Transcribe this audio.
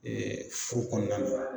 furu kɔnɔna na.